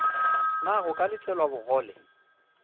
na go ka letelwa bogole